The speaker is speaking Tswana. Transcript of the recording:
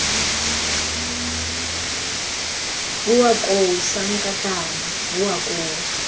bowa koo sankatane bowa koo